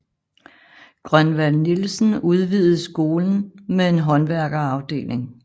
Grønvald Nielsen udvidede skolen med en håndværkerafdeling